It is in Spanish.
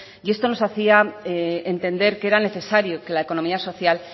y esto nos hacía entender que era necesario que la economía social